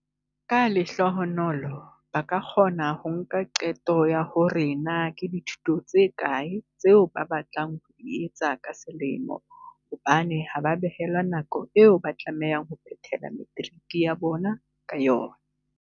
"Ka lehlohonolo, ba ka kgona ho nka qeto ya hore na ke dithuto tse kae tseo ba batlang ho di etsa ka selemo hobane ha ba behelwa nako eo ba tlamehang ho phethela materiki ya bona ka yona."